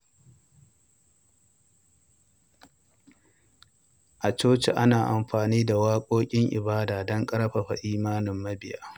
A coci, Ana amfani da waƙoƙin ibada don ƙarfafa imanin mabiya.